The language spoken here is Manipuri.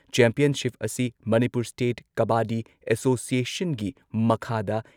ꯆꯦꯝꯄꯤꯌꯟꯁꯤꯞ ꯑꯁꯤ ꯃꯅꯤꯄꯨꯔ ꯁ꯭ꯇꯦꯠ ꯀꯥꯕꯥꯗꯤ ꯑꯦꯁꯣꯁꯤꯌꯦꯁꯟꯒꯤ ꯃꯈꯥꯗ